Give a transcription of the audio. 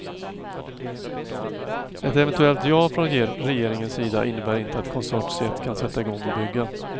Ett eventuellt ja från regeringens sida innebär inte att konsortiet kan sätta igång att bygga.